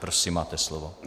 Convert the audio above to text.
Prosím, máte slovo.